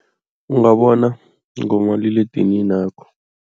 Ungabona ngomaliledininakho.